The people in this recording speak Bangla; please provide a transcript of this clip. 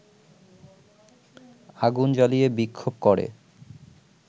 আগুন জ্বালিয়ে বিক্ষোভ করে